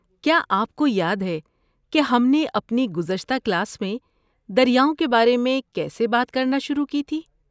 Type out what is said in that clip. کیا آپ کو یاد ہے کہ ہم نے اپنی گزشتہ کلاس میں دریاؤں کے بارے میں کیسے بات کرنا شروع کی تھی؟